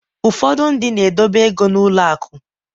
ụfọdụ ndị na-edobe ego ha n’ụlọ akụ